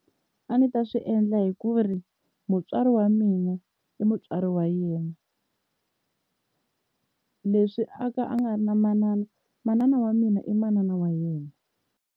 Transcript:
A ndzi ta swi endla hi ku ri mutswari wa mina i mutswari wa yena, leswi a ka a nga ri na manana manana wa mina i manana wa yena.